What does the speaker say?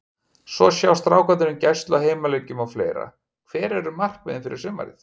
Svo sjá strákarnir um gæslu á heimaleikjum og fleira Hver eru markmiðin fyrir sumarið?